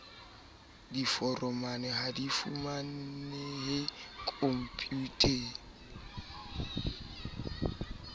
diforomo ha di fumanehe khomputeng